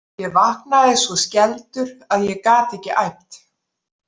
Ég vaknaði svo skelfdur að ég gat ekki æpt.